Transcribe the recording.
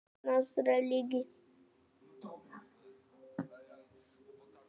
Styrkur þeirra fellur hins vegar hratt að fæðingu lokinni.